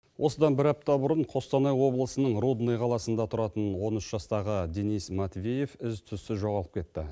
осыдан бір апта бұрын қостанай облысының рудный қаласында тұратын он үш жастағы денис матвеев із түссіз жоғалып кетті